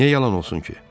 Niyə yalan olsun ki?